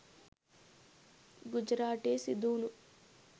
ගුජරාටයේ සිදුවුණු